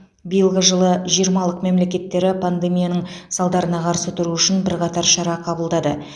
биылғы жылы жиырмалық мемлекеттері пандемияның салдарына қарсы тұру үшін бірқатар шара қабылдады